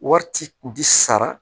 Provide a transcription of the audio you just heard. Wari ci kun ti sara